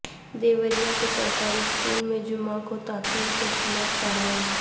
دیوریا کے سرکاری اسکول میں جمعہ کو تعطیل کیخلاف کارروائی